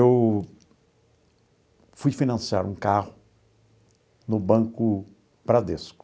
Eu fui financiar um carro no Banco Bradesco.